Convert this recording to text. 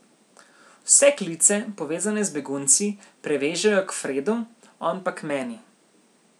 Vse klice, povezane z begunci, prevežejo k Fredu, on pa k meni.